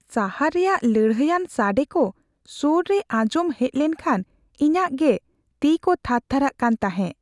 ᱥᱟᱦᱟᱨ ᱨᱮᱭᱟᱜ ᱞᱟᱹᱲᱦᱟᱹᱭᱟᱱ ᱥᱟᱰᱮ ᱠᱚ ᱥᱳᱨ ᱨᱮ ᱟᱸᱡᱚᱢ ᱦᱮᱡ ᱞᱮᱱᱠᱷᱟᱱ ᱤᱧᱟᱹᱜ ᱜᱮ ᱛᱤᱼᱠᱚ ᱛᱷᱟᱨ ᱛᱷᱟᱨᱟᱜ ᱠᱟᱱ ᱛᱟᱦᱮᱸ ᱾